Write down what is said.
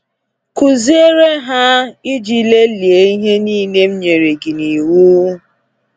“Kụziere Ha Iji Lelee Ihe niile M nyere Gị Iwu”